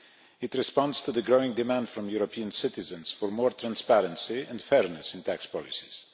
It responds to the growing demand from European citizens for more transparency and fairness in tax policies.